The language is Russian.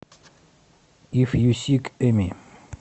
иф ю сик эми